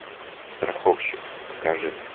страховщик покажи